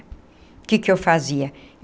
O que que eu fazia?